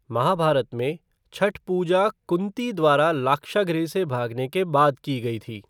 महाभारत में, छठ पूजा कुँती द्वारा लाक्षागृह से भागने के बाद की गई थी।